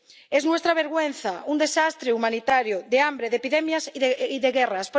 Es nuestra vergüenza un desastre humanitario de hambre, de epidemias y de guerras.